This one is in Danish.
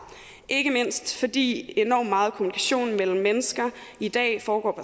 ikke mindst fordi enormt meget kommunikation mellem mennesker i dag foregår